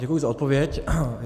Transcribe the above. Děkuji za odpověď.